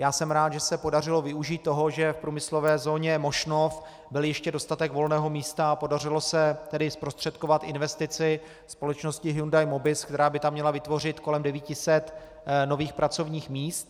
Já jsem rád, že se podařilo využít toho, že v průmyslové zóně Mošnov byl ještě dostatek volného místa, a podařilo se tedy zprostředkovat investici společnosti Hyundai Mobis, která by tam měla vytvořit kolem 900 nových pracovních míst.